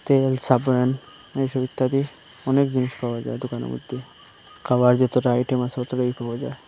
তেল সাবান এইসব ইত্যাদি এসব অনেক জিনিস পাওয়া যায় দোকানের মধ্যে খাবার যতটা আইটেম আছে অতটাই পাওয়া যায়।